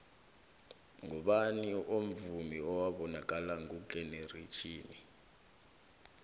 ngubani omvumi owabonakala ngugeneratjhini